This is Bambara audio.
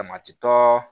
Dama ti tɔɔ